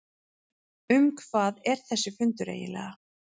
Um hvað er þessi fundur eiginlega?